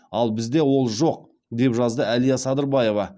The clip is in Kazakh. ал бізде ол жоқ деп жазады әлия садырбаева